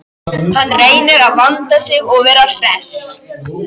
Hann reynir að vanda sig og vera hress.